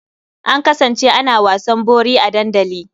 An kasance ana wasan bori a dandali.